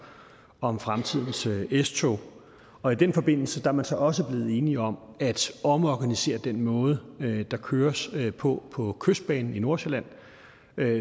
om fremtidens s tog og i den forbindelse er man så også blevet enige om at omorganisere den måde der køres på på kystbanen i nordsjælland